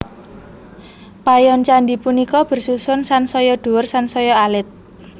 Payon candhi punika bersusun sansaya dhuwur sansaya alit